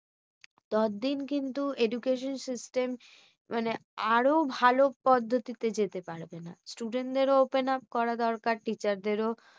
তত দিন কিন্তু education system মানে আরো ভালো পদ্ধতিতে যেতে পারবে না। student দের ও open up করা দরকার teacher দেরও